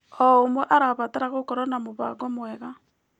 O ũmwe arabatara gũkorwo na mũbango mwega.